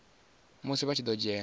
musi vha tshi ḓo dzhena